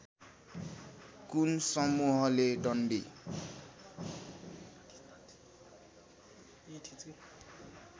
कुन समूहले डन्डी